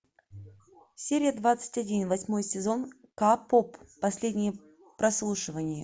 серия двадцать один восьмой сезон к поп последнее прослушивание